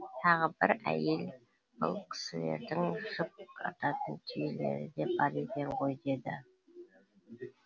тағы бір әйел бұл кісілердің жүк артатын түйелері де бар екен ғой деді